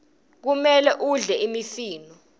kumele udle imifino